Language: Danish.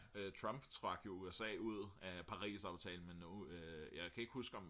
Trump trak jo USA ud af Parisaftalen men nu jeg kan ikke huske om